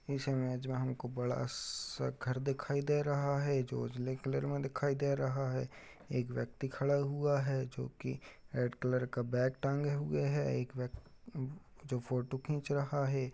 इस इमेज में हमें बड़ा सा घर दिखाई दे रहा है जो उज्जले कलर में दिखाई दे रहा है। एक व्यक्ति खड़ा हुआ है जोकि रेड कलर का बैग टांगे हुए है। एक व्यक्ति जो फोटो खींच रहा है।